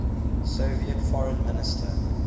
soviet foreign minister